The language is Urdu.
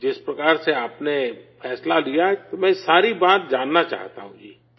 جس طرح سے آپ نے فیصلہ لیا، تو میں ساری بات جاننا چاہتا ہوں جی